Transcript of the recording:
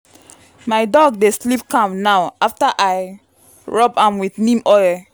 my dog dey sleep calm now after i rub am with neem oil.